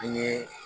An ye